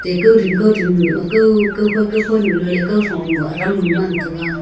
te kowding kowding a kow kowkhau kowkhau nu ley kau thong nu adam nu ngan taga.